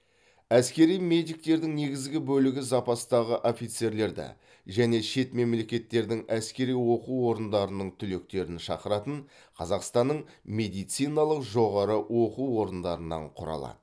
әскери медиктердің негізгі бөлігі запастағы офицерлерді және шет мемлекеттердің әскери оқу орындарының түлектерін шақыратын қазақстанның медициналық жоғары оқу орындарынан құралады